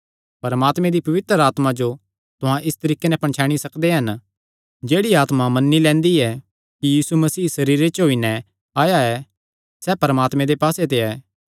परमात्मे दी पवित्र आत्मा जो तुहां इस तरीके नैं पणछैणी सकदे हन जेह्ड़ी आत्मा मन्नी लैंदी ऐ कि यीशु मसीह सरीरे च होई नैं आया ऐ सैह़ परमात्मे दे पास्से ते ऐ